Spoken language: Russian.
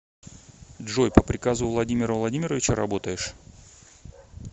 джой по приказу владимира владимировича работаешь